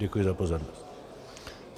Děkuji za pozornost.